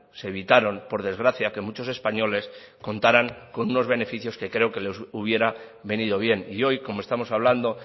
se evitaron por desgracia que muchos españoles contaran con unos beneficios que creo que les hubiera venido bien y hoy como estamos hablando